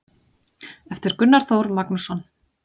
eftir gunnar þór magnússon